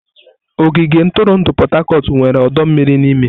Ogige ntụrụndụ Pot-Tarcort nwere ọdọ mmiri n'ime.